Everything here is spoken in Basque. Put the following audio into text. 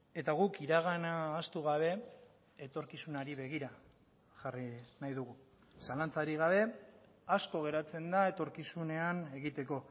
eta guk iragana ahaztu gabe etorkizunari begira jarri nahi dugu zalantzarik gabe asko geratzen da etorkizunean egiteko